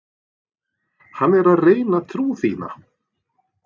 Hann er að reyna trú þína.